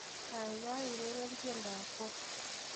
Kaikai ureren tiendoab Folk